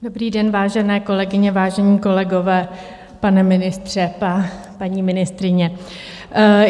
Dobrý den, vážené kolegyně, vážení kolegové, pane ministře, paní ministryně.